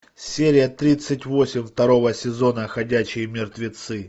серия тридцать восемь второго сезона ходячие мертвецы